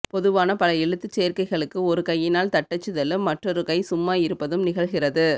பொதுவான பல எழுத்துச் சேர்க்கைகளுக்கு ஒரு கையினால் தட்டச்சுதலும் மற்றொரு கை சும்மா இருப்பதும் நிகழ்கிறது